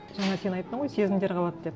жаңа сен айттың ғой сезімдер қалады деп